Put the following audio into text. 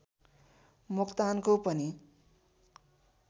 मोक्तानको पनि